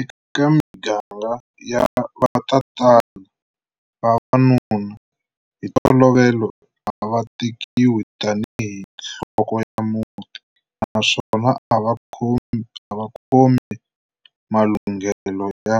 Eka miganga ya vatatana, vavanuna hi ntolovelo ava tekiwi tani hi" nhloko ya muti" naswona ava khome malunghelo yo